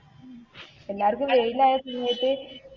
എല്ലാര്‍ക്കും വെയിലയസമയത്ത്,